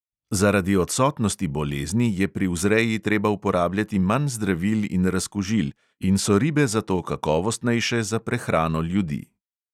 Zaradi odsotnosti bolezni je pri vzreji treba uporabljati manj zdravil in razkužil in so ribe zato kakovostnejše za prehrano ljudi.